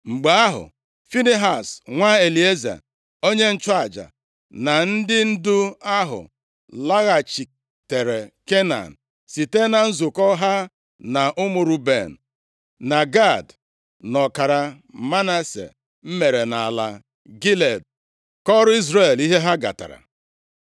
Mgbe ahụ Finehaz, nwa Elieza, onye nchụaja, na ndị ndu ahụ laghachitere Kenan site na nzukọ ha na ụmụ Ruben na Gad na ọkara Manase mere nʼala Gilead kọọrọ Izrel ihe ha gatara.